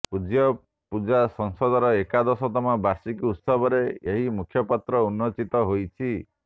ପୂଜ୍ୟପୂଜା ସଂସଦର ଏକାଦଶତମ ବାର୍ଷିକ ଉତ୍ସବରେ ଏହି ମୁଖପତ୍ର ଉନ୍ମୋଚିତ ହୋଇଛି